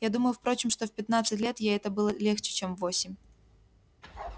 я думаю впрочем что в пятнадцать лет ей это было легче чем в восемь